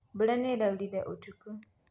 Mbura nĩraurire ũtukũ.